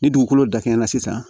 Ni dugukolo dakɛɲɛna sisan